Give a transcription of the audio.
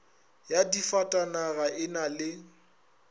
ya difatanaga e na le